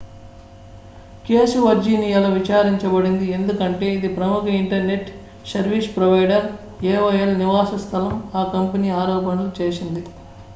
case వర్జీనియాలో విచారించబడింది ఎందుకంటే ఇది ప్రముఖ ఇంటర్నెట్ సర్వీస్ ప్రొవైడర్ aol నివాస స్థలం ఆ కంపెనీ ఆరోపణలు చేసింది